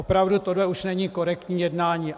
Opravdu, tohle už není korektní jednání.